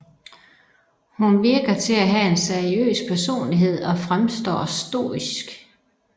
Hun virker til at have en seriøs personlighed og fremstår stoisk